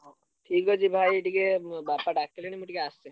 ହଉ ଠିକ୍ ଅଛି ଭାଇ ଟିକେ ଉ ବାପା ~ଡାକି ~ଲେଣି ମୁଁ ଟିକେ ଆସେ।